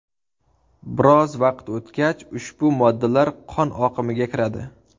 Biroz vaqt o‘tgach ushbu moddalar qon oqimiga kiradi.